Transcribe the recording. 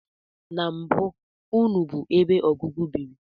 Na mbụ, nnu bụ ebe ọgụgụ biri